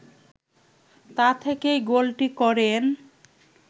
তা থেকেই গোলটি করেন